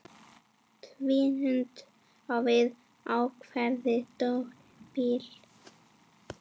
Tvíund á við ákveðið tónbil.